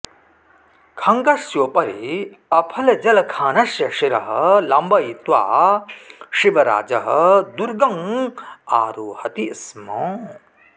खङ्गस्योपरि अफजलखानस्य शिरः लम्बयित्वा शिवराजः दुर्गं आरोहति स्म